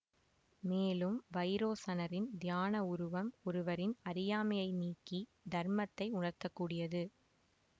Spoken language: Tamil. மேலும் வைரோசனரின் தியான உருவம் ஒருவரின் அறியாமையை நீக்கி தர்மத்தை உணர்த்தக்கூடியது